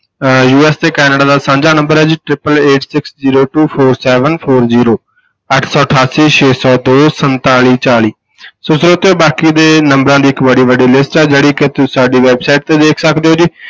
ਅਹ USA Canada ਦਾ ਸਾਂਝਾ number ਹੈ ਜੀ triple eight six zero two four seven four zero ਅੱਠ ਸੌ ਅਠਾਸੀ ਛੇ ਸੌ ਦੋ ਸੰਤਾਲੀ ਚਾਲੀ ਸੋ ਸਰੋਤਿਓ ਬਾਕੀ ਦੇ ਨੰਬਰਾਂ ਦੀ ਇੱਕ ਬੜੀ ਵੱਡੀ list ਹੈ, ਜਿਹੜੀ ਕਿ ਤੁਸੀਂ ਸਾਡੀ website ਤੇ ਵੇਖ ਸਕਦੇ ਹੋ ਜੀ।